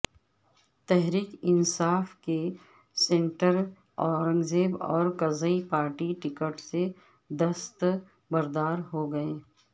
تحریک انصاف کے senator Aurangzeb Orakzai party ticket سے دستبردار ہوگئے